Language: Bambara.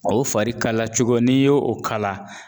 O fari kalacogo n'i y'o o fari kala